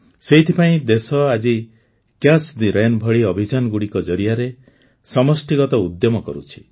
ସେଇଥିପାଇଁ ଦେଶ ଆଜି କ୍ୟାଚ୍ ଦି ରେନ୍ ଭଳି ଅଭିଯାନଗୁଡ଼ିକ ଜରିଆରେ ସମଷ୍ଟିଗତ ଉଦ୍ୟମ କରୁଛି